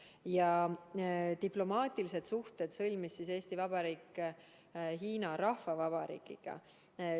Ja diplomaatilised suhted sõlmis Eesti Vabariik Hiina Rahvavabariigiga.